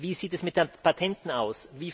Wie sieht es mit Patenten aus?